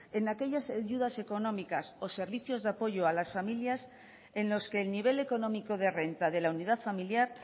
en aquellas ayudas familiares o servicios de apoyo a las familias en los que el nivel económico de renta de la unidad familiar